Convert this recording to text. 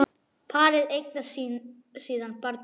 Parið eignast síðan barn saman.